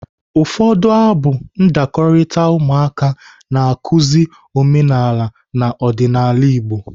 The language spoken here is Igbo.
Ụfọdụ abụ ndakọrita ụmụaka na-akụzi omenala na ọdịnaala Igbo.